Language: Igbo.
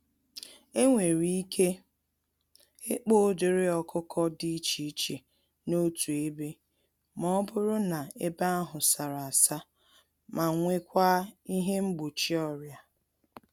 Enwere ike ịkpa ụdịrị ọkụkọ dị iche iche n'otu ebe, mọbụrụ na ebe ahụ sárá-asa ma nwekwa ihe mgbochi ọrịa.